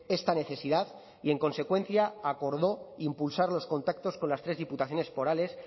esta necesidad y en consecuencia acordó impulsar los contactos con las tres diputaciones forales